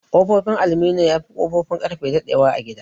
Ƙofofin aluminum yafi Ƙofofin Ƙarfe daɗe wa a gida.